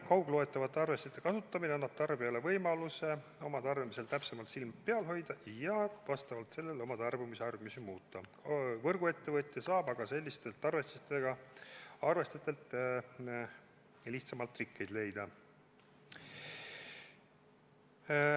Kaugloetavate arvestite kasutamine annab tarbijale võimaluse oma tarbimisel täpsemalt silm peal hoida ja vastavalt sellele oma tarbimisharjumusi muuta, võrguettevõtja saab aga lihtsamalt rikkeid leida.